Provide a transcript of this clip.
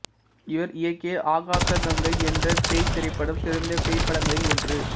இவர் இயக்கிய ஆகாசகங்கை என்ற பேய்த் திரைப்படம் சிறந்த பேய்ப்படங்களில் ஒன்று